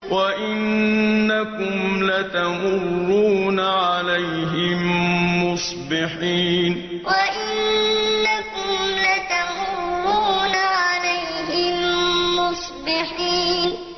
وَإِنَّكُمْ لَتَمُرُّونَ عَلَيْهِم مُّصْبِحِينَ وَإِنَّكُمْ لَتَمُرُّونَ عَلَيْهِم مُّصْبِحِينَ